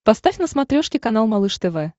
поставь на смотрешке канал малыш тв